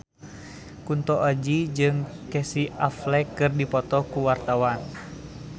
Kunto Aji jeung Casey Affleck keur dipoto ku wartawan